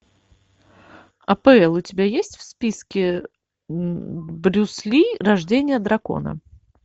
апл у тебя есть в списке брюс ли рождение дракона